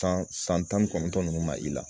San san tan ni kɔnɔntɔn ninnu ma i la